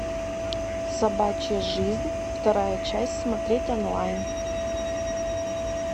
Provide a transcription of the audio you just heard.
собачья жизнь вторая часть смотреть онлайн